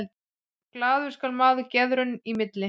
Glaður skal maður geðrauna í milli.